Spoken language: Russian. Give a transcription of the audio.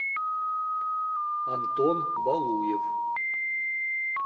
антон балуев